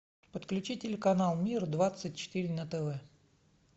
подключи телеканал мир двадцать четыре на тв